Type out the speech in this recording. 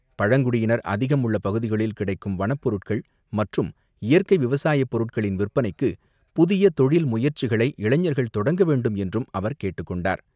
பழங்குடியினர் அதிகம் உள்ள பகுதிகளில் கிடைக்கும் வனப்பொருட்கள் மற்றும் இயற்கை விவசாய பொருட்களின் விற்பனைக்கு புதிய தொழில் முயற்சிகளை இளைஞர்கள் தொடக்க வேண்டும் என்றும் அவர் கேட்டுக் கொண்டார்.